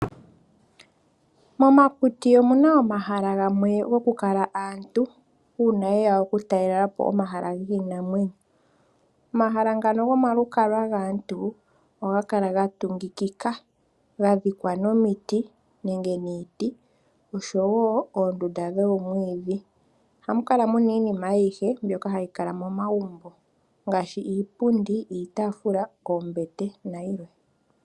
Momakuti omuna omahala gamwe goku kala aantu uuna ye ya okutalela po omahala giinamwenyo. Omahala ngano gomalukalwa gaantu ohaga kala gatungikikika gadhikwa nomiti nenge niiti, osho woo oondunda dhoomwiidhi. Ohamu kala muna iinima ayihe mbyoka hayi kala momagumbo ngaashi iipundi, iitaafula, oombete nayilwe.